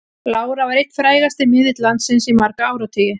Lára var einn frægasti miðill landsins í marga áratugi.